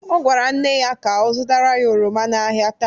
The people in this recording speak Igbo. Ọ gwara nne ya ka ọ zụtara ya oroma n'ahịa taa.